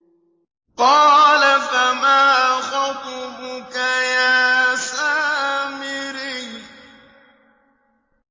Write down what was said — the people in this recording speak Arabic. قَالَ فَمَا خَطْبُكَ يَا سَامِرِيُّ